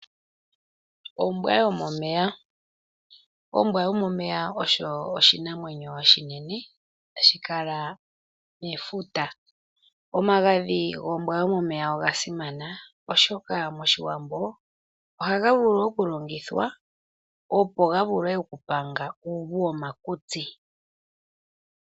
Ombwa yomomeya, ombwa yomomeya oyo oshinamwenyo oshinene hashi kala mefuta. Omagadhi gombwa yomomeya oga simana oshoka moshiwambo ohaga vulu oku longithwa opo ga vule oku panga uuvu womakutsi.